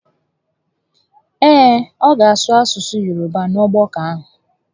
Ee, ọ ga asụ asụsụ Yoroba n'ogbakọ ahụ